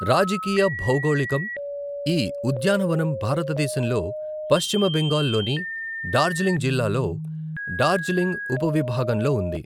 రాజకీయ భౌగోళికం, ఈ ఉద్యానవనం భారతదేశంలో పశ్చిమ బెంగాల్ లోని డార్జిలింగ్ జిల్లాలో డార్జిలింగ్ ఉపవిభాగంలో ఉంది.